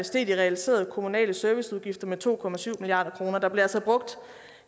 steg de realiserede kommunale serviceudgifter med to milliard kroner der blev altså brugt